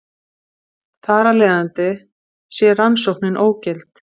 Þar af leiðandi sé rannsóknin ógild